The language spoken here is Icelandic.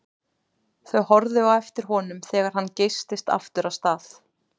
Þau horfðu á eftir honum þegar hann geystist aftur af stað.